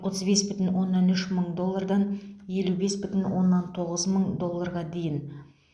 отыз бес бүтін оннан үш мың доллардан елу бес бүтін оннан тоғыз мың долларға дейін